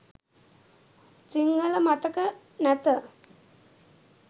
සිංහල මතක නැත